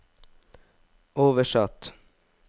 oversatt